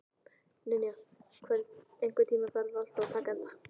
Ninja, einhvern tímann þarf allt að taka enda.